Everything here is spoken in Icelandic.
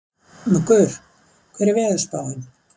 Muggur, hvernig er veðurspáin?